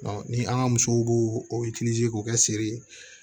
ni an ka musow b'o o k'o kɛ sere ye